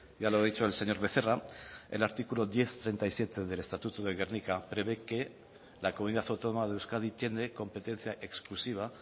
ya lo ha dicho el señor becerra el artículo diez punto treinta y siete del estatuto de gernika prevé que la comunidad autónoma de euskadi tiene competencia exclusiva